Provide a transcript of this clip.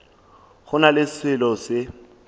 go na le selo se